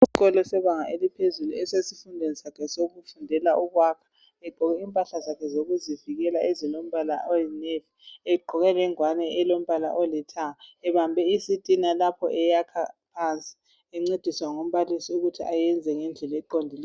Usesikolo sebanga eliphezulu esesifundweni sakhe sokwakha. Ugqoke impahla zakhe zokuzivikela ezilombala oyinevi lengowane elombala olithanga. Ubambe isitina lapho eyakha phansi. Uncediswa ngumbalisi ukuthi ayakhe ngendlela eqondileyo.